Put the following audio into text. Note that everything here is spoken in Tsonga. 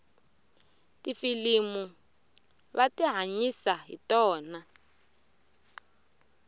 tifilimu va tihanyisa hi tona